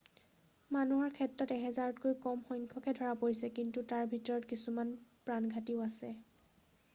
মানুহৰ ক্ষেত্ৰত এহেজাৰতকৈ কম সংখ্যাকহে ধৰা পৰিছে কিন্তু তাৰ ভিতৰত কিছুমান প্ৰাণঘাতীও আছে